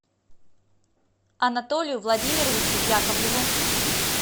анатолию владимировичу яковлеву